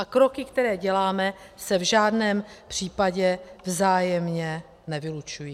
A kroky, které děláme, se v žádném případě vzájemně nevylučují.